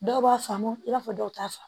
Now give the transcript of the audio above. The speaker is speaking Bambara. Dɔw b'a faamu i b'a fɔ dɔw t'a faamu